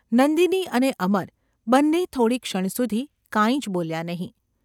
નંદિની અને અમર બન્ને થોડીક ક્ષણ સુધી કાંઈ જ બોલ્યાં નહિ.